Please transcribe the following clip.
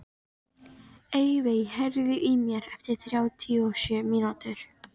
Evey, heyrðu í mér eftir þrjátíu og sjö mínútur.